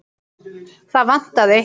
Það vantaði eitthvað.